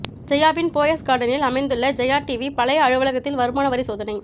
ஜெயாவின் போயஸ் கார்டினில் அமைந்துள்ள ஜெயா டிவி பழைய அலுவலகத்தில் வருமான வரி சோதனை